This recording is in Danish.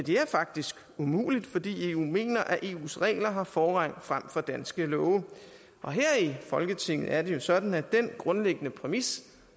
er faktisk umuligt fordi eu mener at eus regler har forrang frem for danske love og her i folketinget er det jo sådan at den grundlæggende præmis